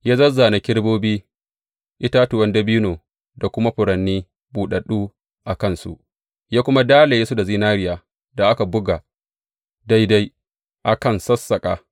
Ya zāzzāna kerubobi, itatuwan dabino, da kuma furanni buɗaɗɗu a kansu, ya kuma dalaye su da zinariyar da aka buga daidai a kan sassaƙa.